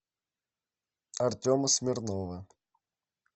артема смирнова